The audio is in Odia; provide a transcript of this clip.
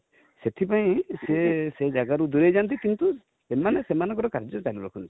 ସେଥି ପାଇଁ ସେ, ସେ ଜାଗା ରୁ ଦୁରେଇ ଯାନ୍ତି କିନ୍ତୁ ସେମାନେ ସେମାନଙ୍କର କାର୍ଯ୍ୟ ଜାରି ରଖନ୍ତି |